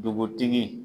Dugutigi